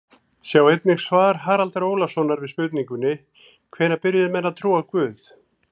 Sjá einnig svar Haraldar Ólafssonar við spurningunni Hvenær byrjuðu menn að trúa á guð?